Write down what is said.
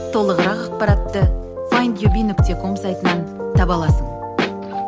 толығырақ ақпаратты файндюби нүкте ком сайтынан таба аласың